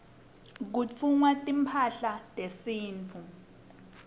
kutfungwa timphahla tesintfu